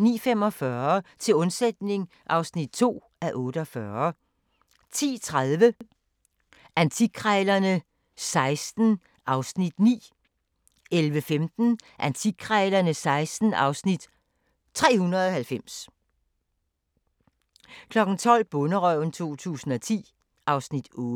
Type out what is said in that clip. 09:45: Til undsætning (2:48) 10:30: Antikkrejlerne XVI (Afs. 9) 11:15: Antikkrejlerne XVI (Afs. 390) 12:00: Bonderøven 2010 (Afs. 8)